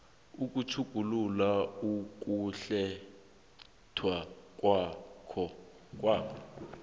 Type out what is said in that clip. ukutjhugulula ukukhetha kwakho